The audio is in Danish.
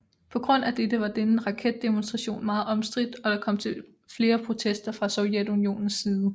På grund af dette var denne raketdemonstration meget omstridt og der kom til flere protester fra Sovjetunionens side